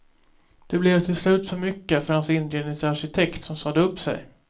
Det blev till slut för mycket för hans inredningsarkitekt som sade upp sig.